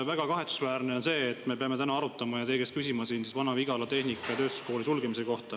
Väga kahetsusväärne on see, et me peame täna teie käest küsima Vana-Vigala Tehnika- ja Tööstuskooli sulgemise kohta.